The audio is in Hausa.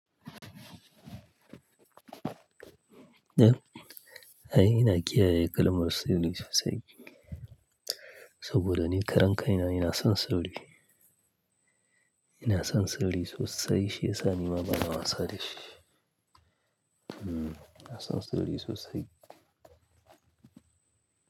Eh, ai ina kiyaye kalmar sirri sosai. Saboda ni karen kai na ina son sirri. Ina son sirri sosai shi yasa ni ma bana wasa da shi. Mm, ina son sirri sosai.